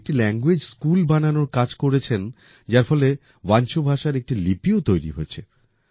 উনি একটি language school বানানোর কাজ করেছেন যার ফলে বাঞ্চোভাষার একটি লিপিও তৈরি হয়েছে